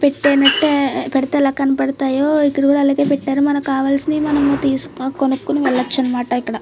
పెట్టినట్టే పెడితే ఎలా కనపడతాయో ఇక్కడ కూడా అలాగే పెట్టారు మనకి కావాలిసినవి మనం తీసుకో కొనుకోవచ్చు వెళ్ళచ్చు అనమాట ఇక్కడ.